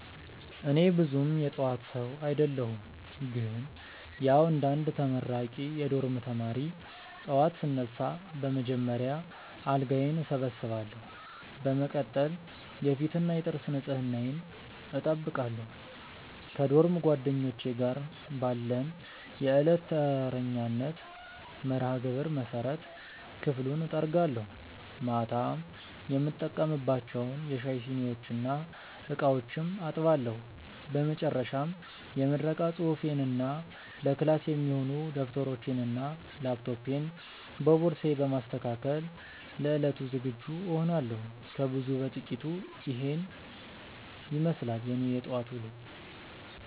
እኔ ብዙም የጠዋት ሰው አደለሁም ግን ያዉ እንደ አንድ ተመራቂ የዶርም ተማሪ፣ ጠዋት ስነሳ በመጀመሪያ አልጋዬን እሰበስባለሁ። በመቀጠል የፊትና የጥርስ ንጽህናዬን እጠብቃለሁ። ከዶርም ጓደኞቼ ጋር ባለን የዕለት ተረኛነት መርሃግብር መሰረት ክፍሉን እጠርጋለሁ፤ ማታ የተጠቀምንባቸውን የሻይ ሲኒዎችና ዕቃዎችም አጥባለሁ። በመጨረሻም የምረቃ ፅሁፌንና ለክላስ የሚሆኑ ደብተሮቼንና ላፕቶፔን በቦርሳዬ በማስተካከል ለዕለቱ ዝግጁ እሆናለሁ። ከብዙ በጥቂቱ ኢሄን ይመስላል የኔ የጠዋት ዉሎ።